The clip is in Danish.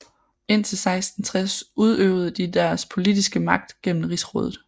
Indtil 1660 udøvede de deres politiske magt gennem Rigsrådet